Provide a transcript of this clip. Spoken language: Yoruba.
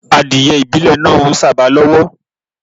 Adiẹ ìbílẹ̀ náa ń sàba lọ́wọ́.